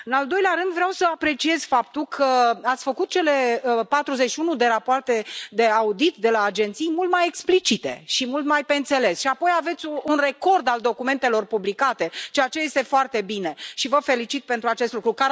În al doilea rând, vreau să apreciez faptul că ați făcut cele 41 de rapoarte de audit de la agenții mult mai explicite și mult mai pe înțeles și apoi aveți un record al documentelor publicate ceea ce este foarte bine și vă felicit pentru acest lucru.